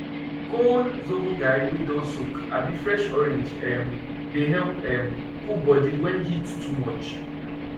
col zobo garri wey don soak abi fresh orange um dey help um cool body when heat too much